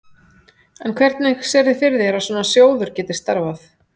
En hvernig sérðu fyrir þér að svona sjóður geti starfað?